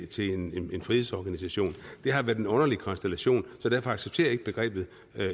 til en frihedsorganisation det har været en underlig konstellation så derfor accepterer jeg ikke begrebet